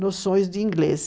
noções de inglês.